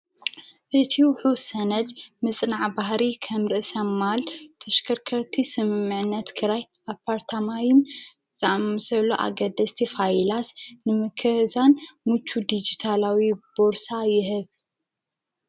እቲ ውሑድ ሰነድ ምፅናዕ ባህሪ ከም ርእሰ ማል ተሽከርከርቲ ስምምዕነት ከራይ ኣፓርታማይን ዝኣመሰሉ ኣገደስቲ ፋይላት ንምክዛን ሙችው ዲጅታላዊ ቦርሳ ይህብ፡፡